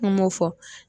Kuma o fɔ